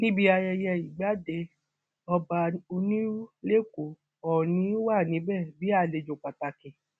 níbi ayẹyẹ ìgbàdé ọba onírú lẹkọọ òọnì wà níbẹ bí àlejò pàtàkì